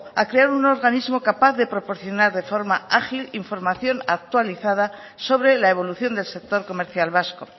a crear un organismo capaz de proporcionar de forma ágil información actualizada sobre la evolución del sector comercial vasco